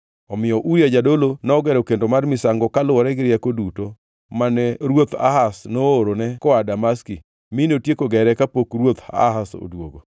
Omiyo Uria jadolo nogero kendo mar misango kaluwore gi rieko duto mane ruoth Ahaz noorone koa Damaski mi notieko gere kapok ruoth Ahaz odwogo.